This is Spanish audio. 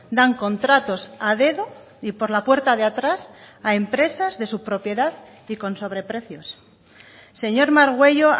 dan contratos a dedo y por la puerta de atrás a empresas de su propiedad y con sobreprecios señor margüello